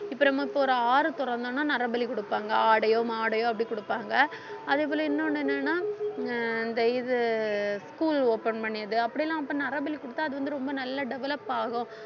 இப்ப நம்ம இப்ப ஒரு ஆறு தொறந்தோம்ன்னா நரபலி கொடுப்பாங்க ஆடையோ மாடையோ அப்படி கொடுப்பாங்க அதே போல இன்னொன்னு என்னன்னா அஹ் இந்த இது school open பண்ணியது அப்படியெல்லாம் அப்ப நரபில் குடுத்தா அது வந்து ரொம்ப நல்லா develop ஆகும்